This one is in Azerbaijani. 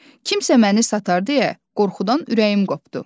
Kimsə məni satar deyə qorxudan ürəyim qopdu.